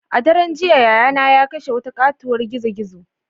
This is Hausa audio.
A daren jiya yayana ya kashe wata katuwar gizo-gizo.